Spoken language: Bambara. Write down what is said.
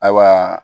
Ayiwa